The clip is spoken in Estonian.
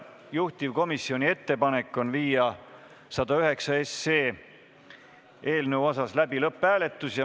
Juhtivkomisjoni ettepanek on viia läbi eelnõu lõpphääletus.